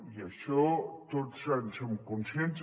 i d’això tots en som conscients